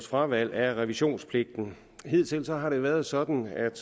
fravalg af revisionspligten hidtil har det været sådan at